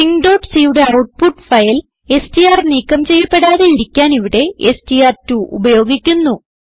stringcയുടെ output file STR നീക്കം ചെയ്യപ്പെടാതെയിരിക്കാൻ ഇവിടെ എസ്ടിആർ2 ഉപയോഗിക്കുന്നു